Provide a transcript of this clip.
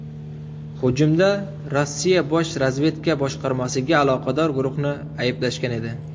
Hujumda Rossiya Bosh razvedka boshqarmasiga aloqador guruhni ayblashgan edi.